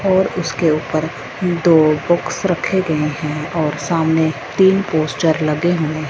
और उसके ऊपर दो बॉक्स रखे गए हैं और सामने तीन पोस्टर लगे हुए--